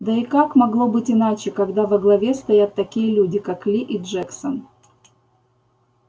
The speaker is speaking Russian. да и как могло быть иначе когда во главе стоят такие люди как ли и джексон